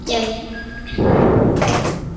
Nei, nei, nei!